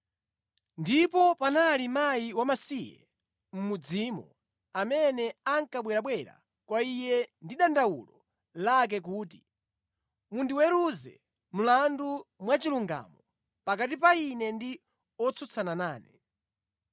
Ndipo panali mkazi wamasiye mʼmudzimo amene ankabwerabwera kwa iye ndi dandawulo lake kuti, ‘Mundiweruze mlandu mwachilungamo pakati pa ine ndi otsutsana nane.’